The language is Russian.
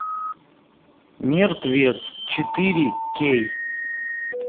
мертвец четыре кей